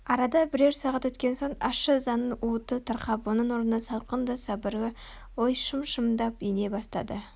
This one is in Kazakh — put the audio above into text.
арада бірер сағат өткен соң ащы ызаның уыты тарқап оның орнына салқын да сабырлы ой шым-шымдап ене бастады